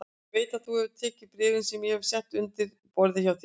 Ég veit að þú hefur tekið bréfin sem ég hef sett undir borðið hjá þér